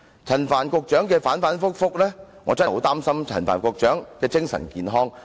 陳帆局長態度反反覆覆，我真的擔心他的精神健康。